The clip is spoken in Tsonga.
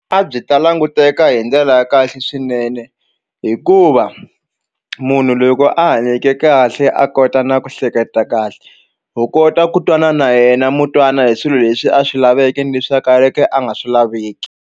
A byi ta languteka hi ndlela ya kahle swinene hikuva munhu loko a hanyeke kahle a kota na ku hleketa kahle u kota ku twana na yena mu twana hi swilo leswi a swi laveke ni leswi a ka le ke a nga swi laveki.